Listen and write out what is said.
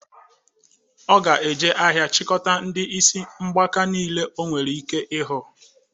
Ọ ga-eje ahịa chịkọta ndị isi mgbaka nile o nwere ike ịhụ